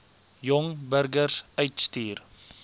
jong burgers uitstuur